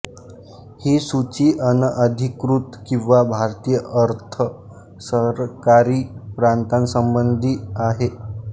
ही सूची अनअधिकृत किंवा भारतीय अर्ध सरकारी प्रातांसंबंधी आहे